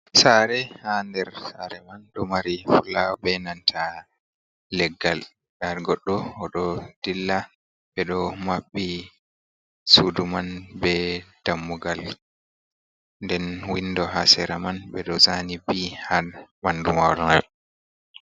Sare, ha nder sare man ɗo mari fulawa, ɓe nanta leggal. Ɗar goɗɗo oɗo ɗilla. Ɓe ɗo maɓɓi suɗu man ɓe ɗammugal. Nɗen winɗo ha sera man be ɗo zani Ɓ ha banɗu mawol mai.